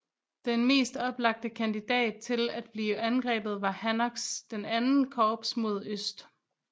Den mest oplagte kandidat til at blive angrebet var Hancocks II Korps mod øst